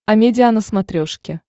амедиа на смотрешке